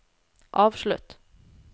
avslutt